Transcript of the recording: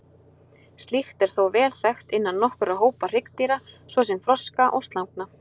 Slíkt er þó vel þekkt innan nokkurra hópa hryggdýra, svo sem froska og slangna.